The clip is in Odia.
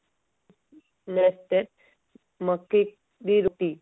next state ମକେଇ ଦି ରୋଟି